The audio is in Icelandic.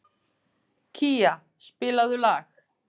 Kía, spilaðu lag.